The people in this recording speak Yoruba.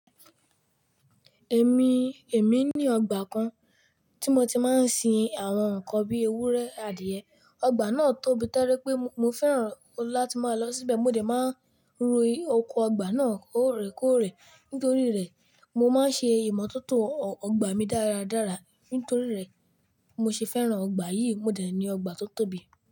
Èmi, èmi ni ọgbà kan tí mo ti máa ń sin àwọn nǹkan bí ewúrẹ́, adìẹ. Ọgbà náà tóbi tẹ́lẹ̀ pé mo fẹ́ràn láti máa lọ síbẹ̀. Mo dè máa ń ro oko ọgbà náà lóòrèkóòrè. Nítorí rẹ̀, mo máa ń ṣe ìmọ̀tótó ọgbà mí dáradára. Nítorí rẹ̀, mọ ṣe fẹ́ràn ọgbà yìí. Mọ dè ni ọgbà tó tóbi.